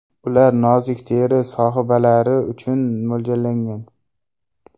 Ular nozik teri sohibalari uchun mo‘ljallangan.